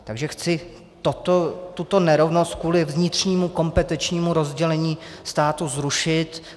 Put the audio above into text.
Takže chci tuto nerovnost kvůli vnitřnímu kompetenčnímu rozdělení státu zrušit.